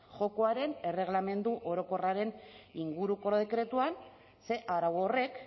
jokoaren erregelamendu orokorraren inguruko dekretuan ze arau horrek